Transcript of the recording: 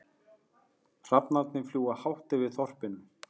Hrafnarnir fljúga hátt yfir þorpinu.